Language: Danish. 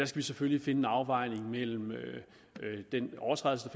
skal selvfølgelig finde en afvejning mellem den overtrædelse